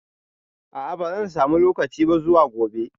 A'a bazan samu lokaci ba zuwa gobe